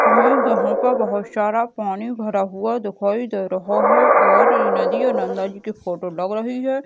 हमें यहाँ पर बहुत सारा पानी भरा हुआ दिखाई दे रहा है और नदी या नंदा जि की फोटो लग रही हैं।